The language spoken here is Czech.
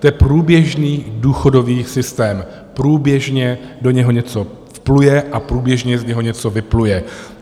To je průběžný důchodový systém, průběžně do něho něco vpluje a průběžně z něho něco vypluje.